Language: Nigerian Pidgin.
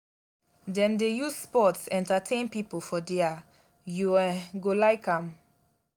dem dey use sports entertain pipo for their you um go like am.